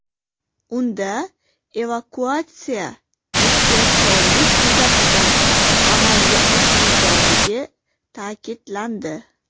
Unda evakuatsiya ehtiyotkorlik yuzasidan amalga oshirilganligi ta’kidlandi.